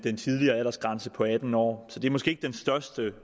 tidligere aldersgrænse på atten år så det er måske ikke den største